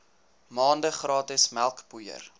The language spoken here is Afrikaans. maande gratis melkpoeier